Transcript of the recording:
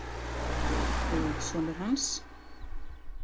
Og sonur hans?